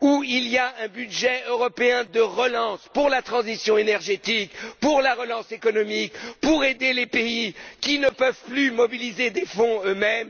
faut un budget européen de relance pour la transition énergétique, pour la relance économique, pour aider les pays qui ne peuvent plus mobiliser des fonds eux mêmes,